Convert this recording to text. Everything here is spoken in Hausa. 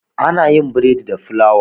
ana yin borodi da fulawa